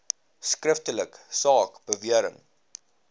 skriftelik saak bewering